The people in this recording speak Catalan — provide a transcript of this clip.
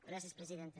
gràcies presidenta